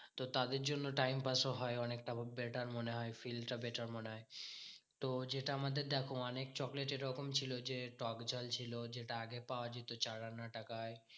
তো তাদের জন্য time pass ও হয় অনেক তেমন সেটার মনে হয় feel টা better মনে হয়। তো যেটা আমাদের দেখো অনেক চকলেট এরকম ছিল যে, টকঝাল ছিল। যেটা আগে পাওয়া যেত চার আনা টাকায়।